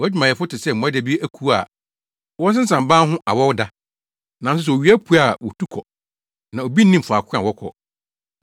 Wʼawɛmfo te sɛ mmoadabi. Wʼadwumayɛfo te sɛ mmoadabi akuw a wɔsensam ban ho awɔw da. Nanso sɛ owia pue a wotu kɔ, na obi nnim faako a wɔkɔ.